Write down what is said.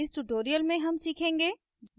इस tutorial में हम सीखेंगे: